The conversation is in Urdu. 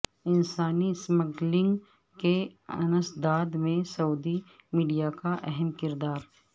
انسانی سمگلنگ کے انسداد میں سعودی میڈیا کا اہم کردار